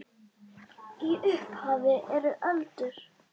Í upphafi eru öldur.